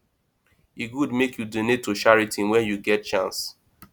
e good make you donate to charity when you get chance